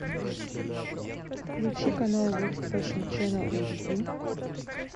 включи канал ворлд фэшн чэнэл эйчди